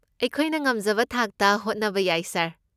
ꯑꯩꯈꯣꯏꯅ ꯉꯝꯖꯕ ꯊꯥꯛꯇ ꯍꯣꯠꯅꯕ ꯌꯥꯏ ꯁꯥꯔ꯫